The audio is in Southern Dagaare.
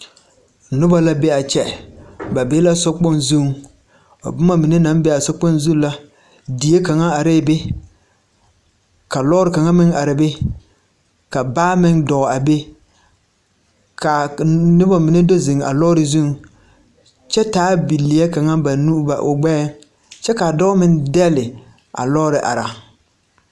Noba la be a kyɛ ba be la sokpoŋ zuŋ a boma mine naŋ be a sokpoŋ zuŋ la die kaŋa are be ka lɔr kaŋa meŋ arɛɛ be ka baa meŋ dɔɔ a be ka noba mine do ziŋ a lɔr zuŋ kyɛ taa bilɛɛ kaŋa o nu o gbɛɛŋ kyɛ kaa dɔɔ meŋ dɛle a lɔɔri.